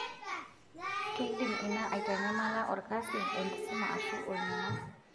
Keidim ina aitanyamala olkasi, enkisuma aashu olning'o.